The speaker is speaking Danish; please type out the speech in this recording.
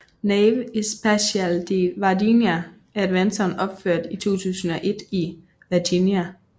Nave Espacial de Varginha er et vandtårn opført i 2001 i Varginha